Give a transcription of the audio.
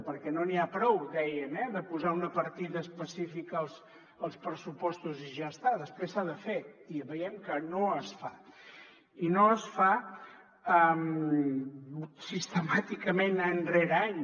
perquè no n’hi ha prou dèiem eh de posar una partida específica als pressupostos i ja està després s’ha de fer i veiem que no es fa i no es fa sistemàticament any rere any